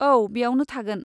औ, बेयावनो थागोन।